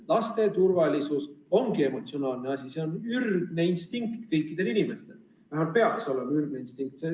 Laste turvalisus ongi emotsionaalne asi, selle tagamine on kõikidel inimestel ürgne instinkt, vähemalt peaks olema ürgne instinkt.